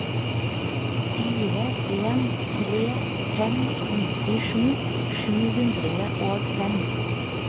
fire en tre fem nittisju sju hundre og fem